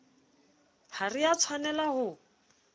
ha re a tshwanela ho